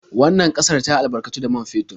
Wannan ƙasar ta albarkatu da man fetur.